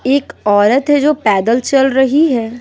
एक औरत है जो पैदल चल रही है।